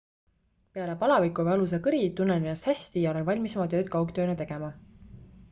"""peale palaviku ja valusa kõri tunnen ennast hästi ja olen valmis oma tööd kaugtööna tegema.